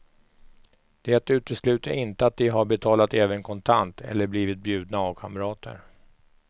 Det utesluter inte att de har betalat även kontant, eller blivit bjudna av kamrater.